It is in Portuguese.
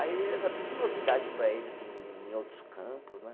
Aí era tudo novidade para eles em outros campos, né?